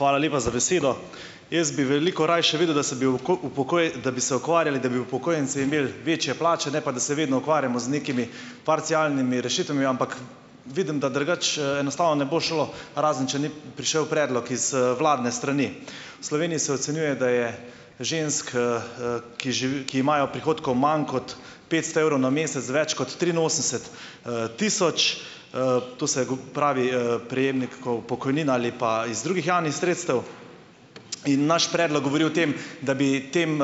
Hvala lepa za besedo. Jaz bi veliko rajši videl, da bi se da bi se ukvarjali, da bi upokojenci imeli večje plače, ne pa, da se vedno ukvarjamo z nekimi parcialnimi rešitvami, ampak vidim, da drugače, enostavno ne bo šlo, razen če ni prišel predlog iz, vladne strani. V Sloveniji se ocenjuje, da je žensk, ki živi, ki imajo prihodkov manj kot petsto evrov na mesec, več kot triinosemdeset, tisoč, tu se bo, pravi, prejemnikov pokojnin ali pa iz drugih javnih sredstev. In naš predlog govori o tem, da bi tem,